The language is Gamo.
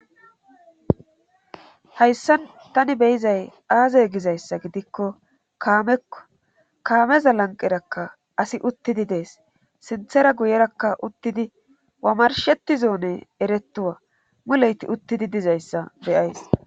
Hayssan tani beyizay aaze gizayssa gidikko kaamekko kaameza lanqerakka asi uttidi dees sinthera guyerakka uttidi wamarshetti zoone eretuwa muleyti uttidi dizayssa beyays